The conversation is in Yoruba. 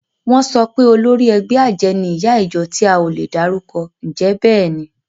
Wọ́n sọ pé olórí ẹgbẹ́ àjẹ́ ni ìyá ìjọ tí a ò lè dárúkọ. Ǹjẹ́ bẹ́ẹ̀ ni?